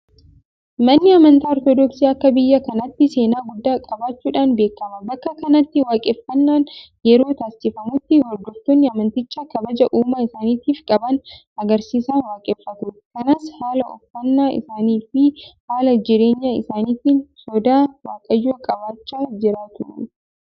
Manni amantaa Ortodoksii akka biyya kanaatti seenaa guddaa qabaachuudhaan beekama. Bakka kanatti waaqeffannaan yeroo taasifamutti hordoftoonni amantichaa kabaja uumaa isaaniitiif qaban agarsiisaa waaqeffatu. kanas haala uffannaa isaaniifi haala jireenya isaaniitiin sodaa waaqayyoo qabaachaa jiraatu.